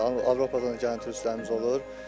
Avropadan gələn turistlərimiz olur.